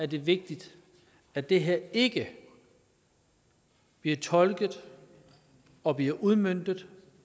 det vigtigt at det her ikke bliver tolket og bliver udmøntet